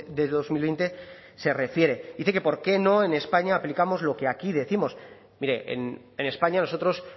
de dos mil veinte se refiere dice que por qué no en españa aplicamos lo que aquí décimos mire en españa nosotros